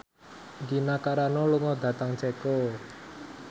Gina Carano lunga dhateng Ceko